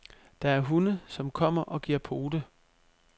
Der er hunde, som kommer og giver pote.